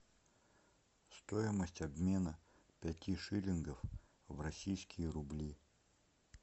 стоимость обмена пяти шиллингов в российские рубли